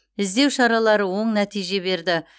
іздеу шаралары оң нәтиже берді